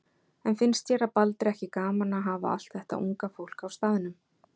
En finnst séra Baldri ekki gaman að hafa allt þetta unga fólk á staðnum?